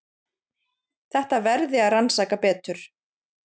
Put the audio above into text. Þetta verði að rannsaka betur.